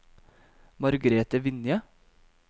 Margrethe Vinje